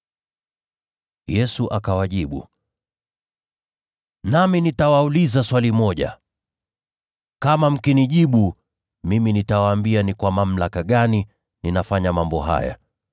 Yesu akawajibu, “Nami nitawauliza swali moja. Kama mkinijibu, nami nitawaambia ni kwa mamlaka gani ninafanya mambo haya.